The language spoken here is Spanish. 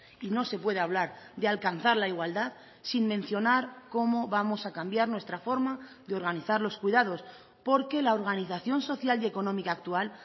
y no se puede hablar de alcanzar la igualdad sin mencionar cómo vamos a cambiar nuestra forma de organizar los cuidados porque la organización social y económica actual